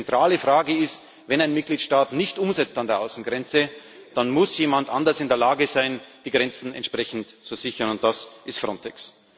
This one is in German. Denn die zentrale Frage ist Wenn ein Mitgliedstaat nichts umsetzt an der Außengrenze, dann muss jemand anders in der Lage sein, die Grenzen entsprechend zu sichern, und das ist Frontex.